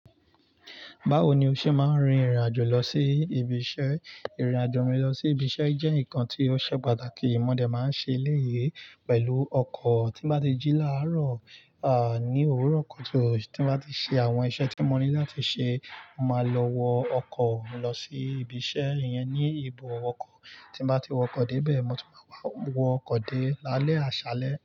Báwo ni o ṣe máa ń rin ìrìn àjò lọ sí ibi iṣẹ́? Ìrìn àjò mi lọ sí ibi iṣẹ́ jẹ́ nǹkan tí ó ṣe pàtàkì. Modẹ́ máa ń ṣe eléyi pẹ̀lú ọkọ̀. Tí mo bá ti jí láàárọ̀, ní òwúrọ̀ kutu tí mo bá ti ṣe àwọn iṣẹ́ tí mo ní láti ṣe, mo máa lọ wọ ọkọ̀ mi lọ sí ibi iṣẹ́ iyẹn ní ibùdo ọkọ̀. Tí mo bá ti wọ ọkọ̀ dé ibẹ̀, mo tún máa wọ ọkọ̀ dé lálẹ́ àṣalẹ́.